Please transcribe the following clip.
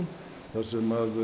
þar sem